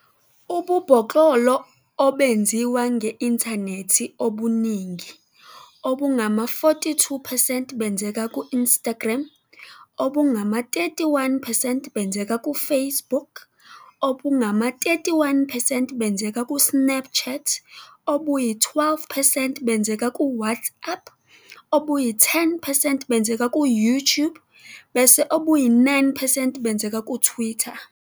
Ububhoklolo obenziwa nge-inthanethi obuningi, obungama-42 percent, benzeka ku-Instagram, obungama-31 percent benzeka ku-Facebook, obungama-31 percent benzeka ku-Snapchat, obuyi-12 percent benzeka ku-WhatsApp, obuyi-10 percent benzeka ku-YouTube bese obuyi-9 percent benzeka kuTwitter.